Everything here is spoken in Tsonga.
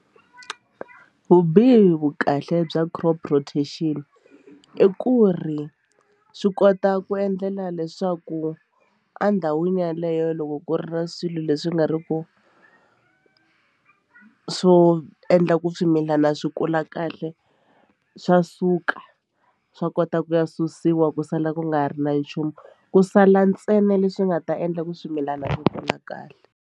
Vubihi vukahle bya crop rotation i ku ri swi kota ku endlela leswaku endhawini yeleyo loko ku ri na swilo leswi nga ri ku swo endla ku swimilana swi kula kahle swa suka swa kota ku ya susiwa ku sala ku nga ha ri na nchumu ku sala ntsena leswi nga ta endla ku swimilana swi kula kahle.